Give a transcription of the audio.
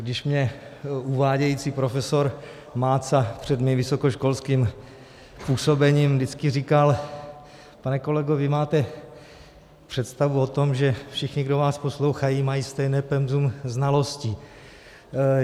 Když mě uvádějící profesor Máca před mým vysokoškolským působením vždycky říkal, pane kolego, vy máte představu o tom, že všichni, kdo vás poslouchají, mají stejné penzum znalostí.